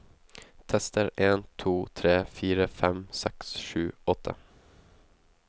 Tester en to tre fire fem seks sju åtte